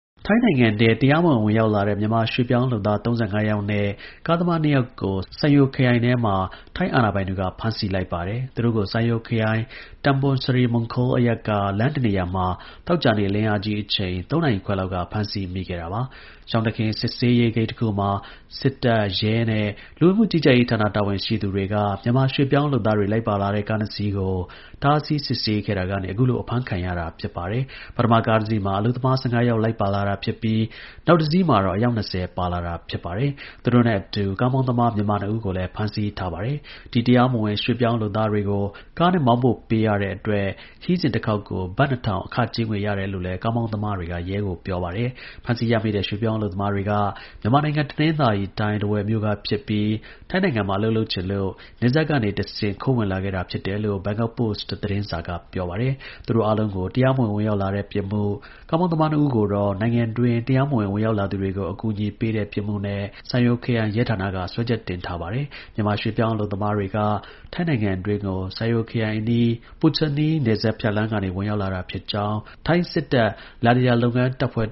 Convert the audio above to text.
ထိုင်းနိုင်ငံ တွင်း တရားမဝင် ဝင်ရောက်လာတဲ့ မြန်မာရွှေ့ပြောင်းလုပ်သား ၃၅ ယောက်နဲ့ ကားမောင်းသမား ၂ ယောက်ကို Sai Yok ခရိုင်ထဲမှာ ထိုင်း အာဏာပိုင်တွေက ဖမ်းဆီးလိုက်ပါတယ်။ သူတို့ကို Sai Yok ခရိုင် Tambon Sri Mongkhol အရပ်က လမ်းတစ်နေရာ မှာ သောကြာနေ့ လင်းအားကြီးအချိန် ၃ နာရီခွဲလောက်က ဖမ်းဆီးမိခဲ့တာပါ။ ရှောင်တခင် စစ်ဆေးရေးဂိတ် တခုမှာ စစ်တပ်၊ရဲနဲ့ လူဝင်မှုကြီးကြပ်ရေးဌာန တာဝန်ရှိသူတွေက မြန်မာရွှေ့ပြောင်းလုပ်သားတွေ လိုက်ပါလာတဲ့ကား၂စီးကို တားဆီးစစ်ဆေးခဲ့တာ ကနေ အခုလို အဖမ်းခံရတာဖြစ်ပါတယ်။ ပထမ ကားတစီးမှာ အလုပ်သမား ၁၅ ယောက်လိုက်ပါလာတာဖြစ်ပြီး နောက် တစီးမှာ အယောက် ၂၀ ပါလာတာဖြစ်ပါတယ်။ သူတို့နဲ့ အတူ ကားမောင်းသမား မြန်မာ ၂ ဦးကိုလည်း ဖမ်းဆီးထားပါတယ်။ ဒီ တရားမဝင် ရွှေ့ပြောင်းလုပ်သားတွေကို နယ်စပ် Tambon Sri Mongkhol ကနေ Muang ခရိုင် Kaeng Sian ရွာကိုကားနဲ့ မောင်းပို့ ပေးတဲ့ အတွက် ခရီးစဉ် တခေါက်ကို ဘတ် ၂၀၀၀ အခ ကြေးငွေ ရတယ်လည်းကားမောင်းသမားတွေက ရဲကို ပြော ပါတယ်။ ဖမ်းဆီးရမိတဲ့ ရွှေ့ပြောင်းအလုပ်သမားတွေက မြန်မာနိုင်ငံ တနင်္သာရီတိုင်း၊ ထားဝယ်မြို့ကဖြစ်ပြီး ထိုင်းနိုင်ငံမှာ အလုပ်လုပ်ချင်လို့ နယ်စပ်ကနေတဆင့် ခိုးဝင်လာခဲ့တာဖြစ်တယ်လို့ Bangkok Post သတင်းစာက ပြောပါတယ်။ သူတို့ အားလုံးကို တရားမဝင် ဝင်ရောက်လာတဲ့ ပြစ်မှု၊ ကားမောင်းသမား ၂ ဦးကိုတော့ နိုင်ငံတွင်း တရားမဝင် ဝင်ရောက်လာသူတွေကို အကူအညီပေးတဲ့ ပြစ်မှုနဲ့ Sai Yok ခရိုင်ရဲဌာနက စွဲချက်တင်ထားပါတယ်။ မြန်မာ ရွှေ့ပြောင်းအလုပ်သမားတွေက ထိုင်းနိုင်ငံတွင်းကို Sai Yok ခရိုင် အနီး Puchanee နယ်စပ်ဖြတ်လမ်းကနေဝင်ရောက်လာတာဖြစ်ကြောင်း ထိုင်းစစ်တပ် Ladya လုပ်ငန်းတပ်ဖွဲ့